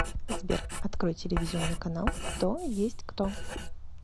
сбер открой телевизионный канал кто есть кто